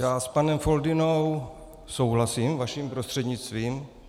Já s panem Foldynou souhlasím, vaším prostřednictvím.